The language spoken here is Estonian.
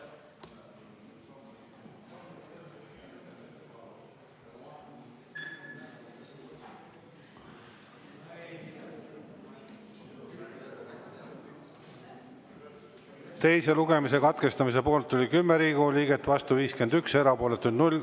Teise lugemise katkestamise poolt oli 10 Riigikogu liiget, vastu 51, erapooletuid oli 0.